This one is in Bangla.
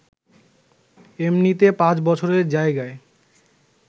এমনিতে পাঁচ বছরের জায়গায়